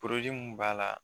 mun b'a la